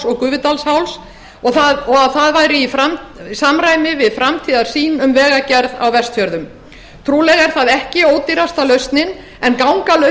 og gufudalsháls og að það væri í samræmi við framtíðarsýn um vegagerð á vestfjörðum trúlega er það ekki ódýrasta lausnin en gangalausnin